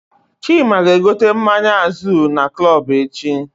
Chima ga egote mmanya Azul na Club echi